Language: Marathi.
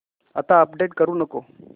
आता अपडेट करू नको